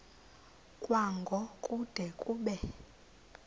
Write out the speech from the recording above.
kwango kude kube